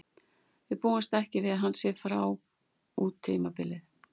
Við búumst ekki við að hann sé frá út tímabilið.